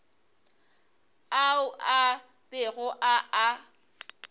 ao a bego a a